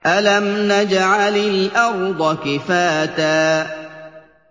أَلَمْ نَجْعَلِ الْأَرْضَ كِفَاتًا